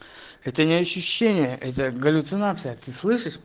это не ощущение это галлюцинация ты слышишь